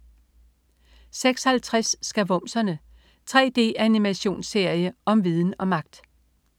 06.50 Skavumserne. 3D-animationsserie om viden og magt!